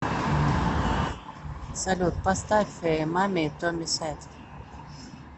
салют поставь мами тони сэд